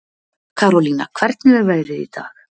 Karolína, hvernig er veðrið í dag?